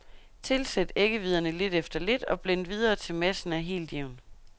Tilsæt æggehviderne lidt efter lidt og blend videre til massen er helt jævn.